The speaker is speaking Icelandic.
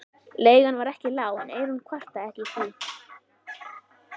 Leigan var ekki lág en Eyrún kvartaði ekki því